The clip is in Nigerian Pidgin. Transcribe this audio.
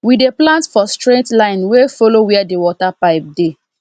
we dey plant for straight line wey follow where the water pipe dey